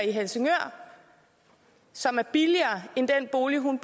i helsingør som er billigere end den bolig hun